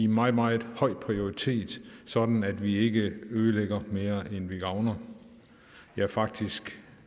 meget meget høj prioritet sådan at vi ikke ødelægger mere end vi gavner ja faktisk